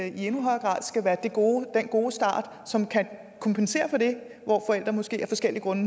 i endnu højere grad skal være den gode gode start som kan kompensere for det hvor forældre måske af forskellige grunde